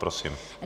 Prosím.